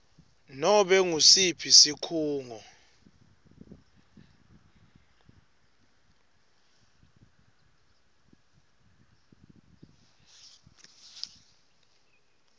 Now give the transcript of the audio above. nobe ngusiphi sikhungo